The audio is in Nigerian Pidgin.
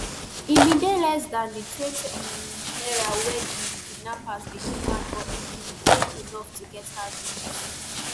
e bin dey less dan di twentym naira wey di kidnappers bin demand but e bin dey enough to get her release